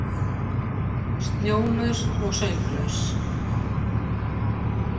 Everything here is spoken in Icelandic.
Snjólaus og sönglaus.